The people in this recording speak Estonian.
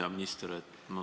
Hea minister!